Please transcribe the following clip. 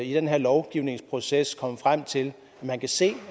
i den her lovgivningsproces vil komme frem til at se